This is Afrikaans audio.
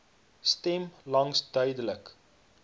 stem langs duidelik